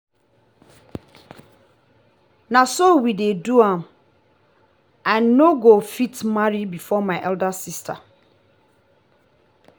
na so we dey do am i no go fit marry before my elder sister